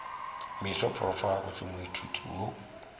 meso prof gabotse moithuti yo